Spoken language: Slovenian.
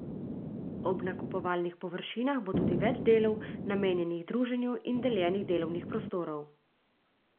Ob nakupovalnih površinah bo tudi več delov, namenjenih druženju, in deljenih delovnih prostorov.